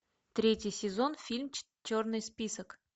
третий сезон фильм черный список